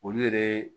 Olu yɛrɛ